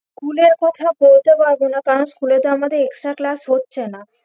School এর কথা বলতে পারবো না কারন school এ তো আমাদের extra class হচ্ছে না